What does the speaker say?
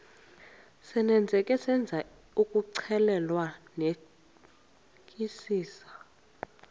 senzeka senzisisa ukuxclelanisekisisa